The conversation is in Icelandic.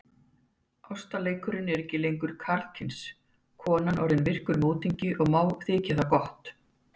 Ástarleikurinn ekki lengur karlkyns, konan orðin virkur mótingi og má þykja það gott.